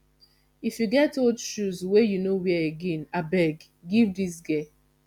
if you get old shoes wey you no wear again abeg give dis girl